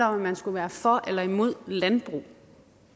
om man skulle være for eller imod landbrug